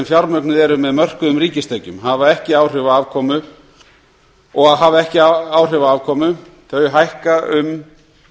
fjármögnuð eru með mörkuðum ríkistekjum og hafa ekki áhrif á afkomu hækka um